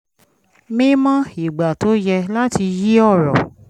mí mọ́ ìgbà tó yẹ láti yí ọ̀rọ̀